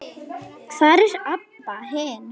Hvar er Abba hin?